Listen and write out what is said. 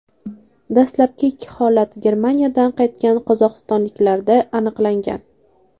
Dastlabki ikki holat Germaniyadan qaytgan qozog‘istonliklarda aniqlangan .